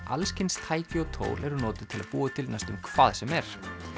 alls kyns tæki og tól til að búa til næstum hvað sem er